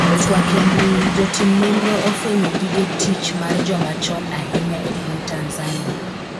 twak e mbui, jotim nonro ofwenyo gige tich mar joma chon ahinya e piny Tanzania